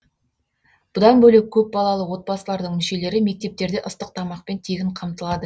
бұдан бөлек көпбалалы отбасылардың мүшелері мектептерде ыстық тамақпен тегін қамтылады